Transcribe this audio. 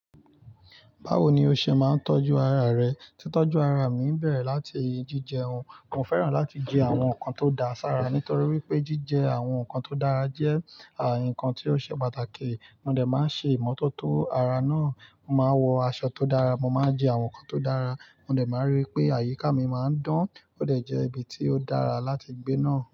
Báwo ni o ṣe máa ń tọ́jú ara rẹ? Tí tọ́jú ara mi ń bẹ̀rẹ̀ láti jíjẹ ohun, mo fẹ́ràn láti jẹ àwọn nǹkan tó dáa sára nítorí wípé jíjẹ àwọn nǹkan tó dára jẹ́ nǹkan tí ó ṣe pàtàkì. Mo dẹ̀ máa ń ṣe ìmọ́tótó ara náà. Mo máa wọ aṣọ tó dára, mo máa jẹ àwọn nǹkan tó dára, mo dẹ̀ máa rí pé àyíká mi máa ń dán, ó dẹ̀ jẹ́ ibi tí ó dára láti gbé náà.